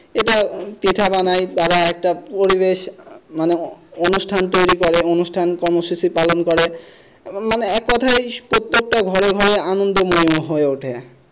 এটা পিঠা বানায় তারা একটা পরিবেষ মানে অনুষ্ঠান তৈরি করে অনুষ্ঠান কর্ম শেষে পালন করে মানে এক কথায় প্রত্যেকটা ঘরে আনন্দময় হয়ে ওঠে।